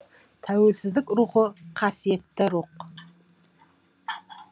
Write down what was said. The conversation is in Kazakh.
тәуелсіздік рухы қасиетті рух